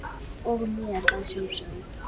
og mér að sjálfsögðu.